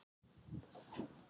Þér er fært te.